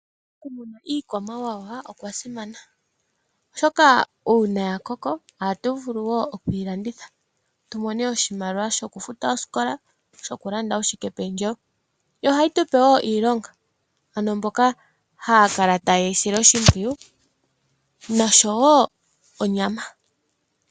Iikwamawawa oya simana oshoka uuna ya koko ohatu vulu okuyi landitha tu mone oshimaliwa shokufuta oosikola nokulanda uushikependjewo wetu. Yo ohayi tu pe iilonga, ano mboka haya kala taye yi sile oshimpwiyu nohayi gandja wo onyama.